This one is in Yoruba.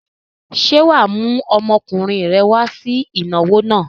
Ṣé wà á mú ọmọkùnrin rẹ wá sí ìnáwó náà?